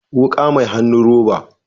Wuka mai hannun roba